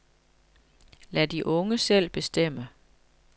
Lad de unge selv bestemme.